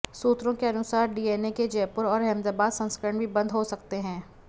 सूत्रों के अनुसार डीएनए के जयपुर और अहमदाबाद संस्करण भी बंद हो सकते हैं